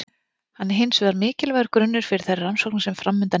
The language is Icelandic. Hann er hins vegar mikilvægur grunnur fyrir þær rannsóknir sem framundan eru.